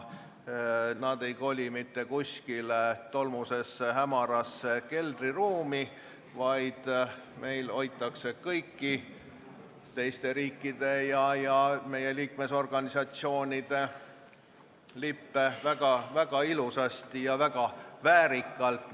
Nad ei koli mitte kuskile tolmusesse, hämarasse keldriruumi, vaid meil hoitakse kõiki teiste riikide ja nende organisatsioonide lippe, kuhu me kuulume, väga ilusasti ja väga väärikalt.